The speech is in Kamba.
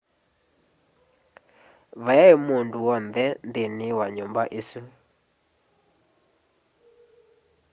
vayaĩ mũndũ wonthe nthĩnĩ wa nyumba ĩsu